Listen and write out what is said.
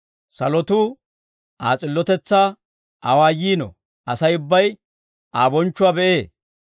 Salotuu Aa s'illotetsaa awaayiino; asay ubbay Aa bonchchuwaa be'ee.